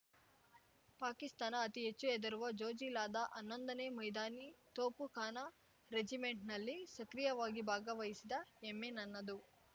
ಪಾಕಿಸ್ತಾನ ಅತಿ ಹೆಚ್ಚು ಹೆದರುವ ಜೊಜಿಲಾದ ಹನ್ನೊಂದನೇ ಮೈದಾನಿ ತೋಪುಖಾನ ರೆಜಿಮೆಂಟ್‌ನಲ್ಲಿ ಸಕ್ರಿಯವಾಗಿ ಭಾಗವಹಿಸಿದ ಹೆಮ್ಮೆ ನನ್ನದು